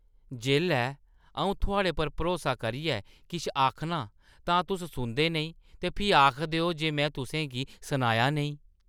जेल्लै अऊं थुआढ़े पर भरोसा करियै किश आखनां तां तुस सुनदे नेईं ते फ्ही आखदे ओ जे मैं तुसें गी सनाया नेईं ।